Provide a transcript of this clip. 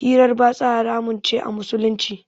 hirar batsa haramun ce a Musulunci.